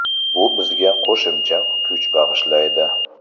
Bu bizga qo‘shimcha kuch bag‘ishlaydi.